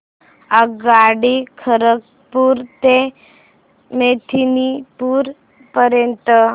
आगगाडी खरगपुर ते मेदिनीपुर पर्यंत